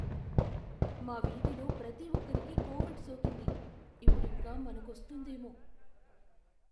మా వీధిలో ప్రతి ఒక్కరికీ కోవిడ్ సోకింది, ఇప్పుడింక మనకొస్తుందేమో.